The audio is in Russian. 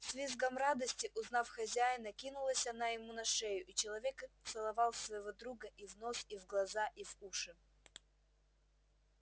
с визгом радости узнав хозяина кинулась она ему на шею и человек целовал своего друга и в нос и в глаза и в уши